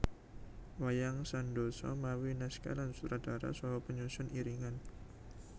Wayang Sandosa mawi naskah lan sutradara saha penyusun iringan